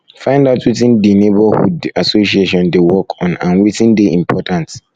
find out wetin di neighbourhood association dey work on and wetin dey important